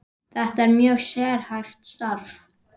Þetta er mjög sérhæft starf.